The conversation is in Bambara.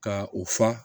Ka u fa